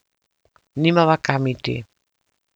Nimava kam iti.